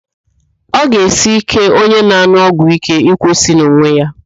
Ọ ga-esi íké onye na-an̄ụ ọgwụíké ịkwụsị n'onwe ya